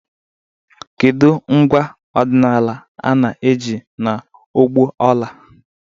Kedu ngwa ọdịnala a na-eji n'ọgbọ ọla?